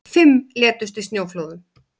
Fimm létust í snjóflóðum